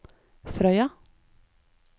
Frøya